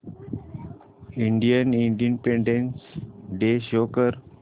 Indian independence day show कर